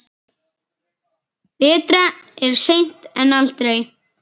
Betra er seint en aldrei.